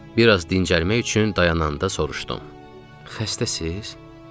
Bir az dincəlmək üçün dayananda soruşdum: Xəstəsiz?